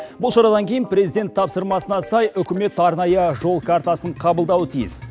бұл шарадан кейін президент тапсырмасына сай үкімет арнайы жол картасын қабылдауы тиіс